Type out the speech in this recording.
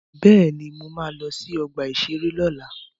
Bẹ́ẹ̀ni, mo ma lọ sí ọgbà-ìṣeré lọ́la